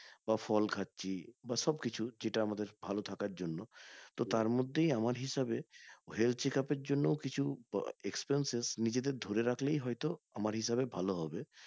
বা ফল খাচ্ছি বা সব কিছু যেটা আমাদের ভালো থাকার জন্য তো তার মধ্যে আমার হিসাবে health checkup এর জন্য কিছু expenses নিজেদের ধরে রাখলে হয়তো আমার হিসাবে ভালো হবে